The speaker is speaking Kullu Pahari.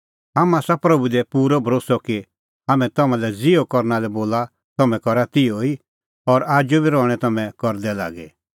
हाम्हां आसा प्रभू दी भरोस्सअ कि हाम्हैं तम्हां लै ज़िहअ करना लै बोलअ त तम्हैं करा तिहअ ई और आजू बी रहणैं तम्हैं करदै लागी